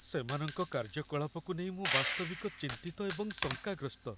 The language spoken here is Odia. ସେମାନଙ୍କ କାର୍ଯ୍ୟକଳାପକୁ ନେଇ ମୁଁ ବାସ୍ତବିକ ଚିନ୍ତିତ ଏବଂ ଶଙ୍କାଗ୍ରସ୍ତ।